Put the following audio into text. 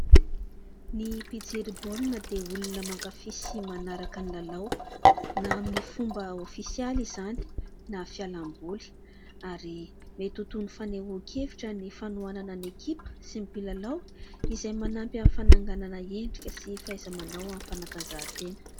Ny mpijery baolina dia olona mankafy sy manaraka ny lalao na amin'ny fomba ofisialy izany na fialam-boly ary mety ho toy ny fanehoan-kevitra ny fanohanana ny ekipa sy ny mpilalao, izay manampy amin'ny fananganana endrika sy fahaiza-manao amin'ny fanatanjahantena.